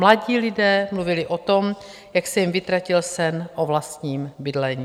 Mladí lidé mluvili o tom, jak se jim vytratil sen o vlastním bydlení.